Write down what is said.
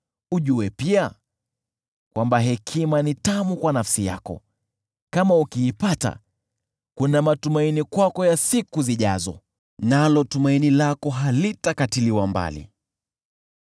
Ujue pia kwamba hekima ni tamu kwa nafsi yako, kama ukiipata, kuna matumaini kwako ya siku zijazo, nalo tumaini lako halitakatiliwa mbali.